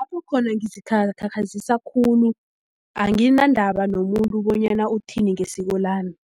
Lapho khona ngizikhakhazisa khulu anginandaba nomuntu bonyana uthini ngesiko lami